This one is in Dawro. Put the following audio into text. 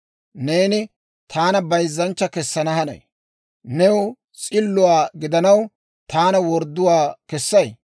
Neeni taana bayzzanchcha kessana hanay? New s'illuwaa gidanaw, taana wordduwaa kessay?